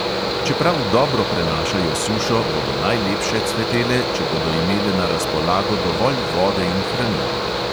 Čeprav dobro prenašajo sušo, bodo najlepše cvetele, če bodo imele na razpolago dovolj vode in hranil.